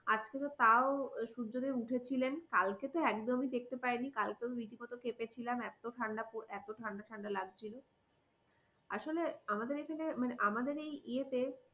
আজকে তো তাও সূর্যদেব উঠেছিলেন কালকে তো একদমই দেখতে পাইনি, কালকে রীতিমতো ক্ষেপে ছিলাম এত ঠান্ডা পড়ে এত ঠান্ডা ঠান্ডা লাগছিল আসলে আমাদের এখানে মানে আমাদের এই ইয়েতে